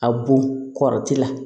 A bon kɔrɔti la